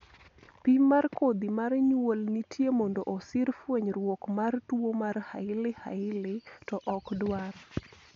pim mar kodhi mar nyuol nitie mondo osir fwenyruok mar tuo mar hailey hailey ,to ok dwar